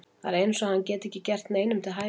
Það er eins og hann geti ekki gert neinum til hæfis.